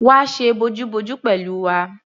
Wá ṣe bojúbojú pẹ̀lú wa!